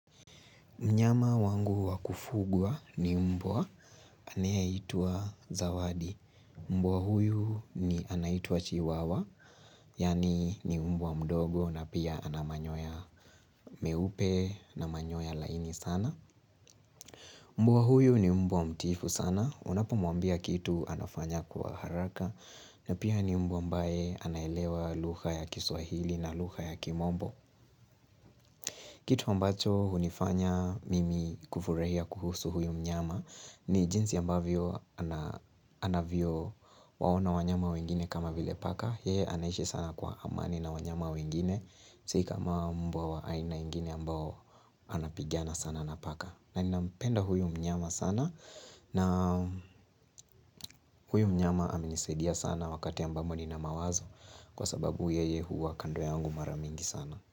Mnyama wangu wa kufugwa ni mbwa, anayeitwa zawadi. Mbwa huyu ni anaitwa chiwawa, yaani ni mbwa mdogo na pia ana manyoya meupe na manyoya laini sana. Mbwa huyu ni mbwa mtiifu sana, unapomwambia kitu anafanya kwa haraka na pia ni mbwa ambae anaelewa lugha ya kiswahili na lugha ya kimombo. Kitu ambacho hunifanya mimi kufurahia kuhusu huyu mnyama ni jinsi ambavyo anavyowaona wanyama wengine kama vile paka. Yeye anaishi sana kwa amani na wanyama wengine. Si kama mbwa wa aina ingine ambao anapigana sana na paka. Na nampenda huyu mnyama sana na huyu mnyama amenisaidia sana wakati ambamo nina mawazo kwa sababu yeye huwa kando yangu mara mingi sana.